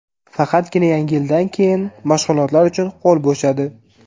Faqatgina yangi yildan keyin mashg‘ulotlar uchun qo‘l bo‘shadi.